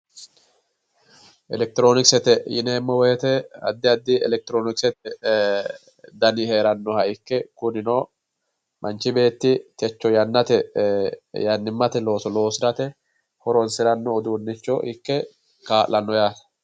Elekitroonikisete yineemmowoyite addi addi elekitiroonikisete dani heerannoha ikke kunino manchi beetti techo yannate uduunnicho ikke kaa'lanno yaate.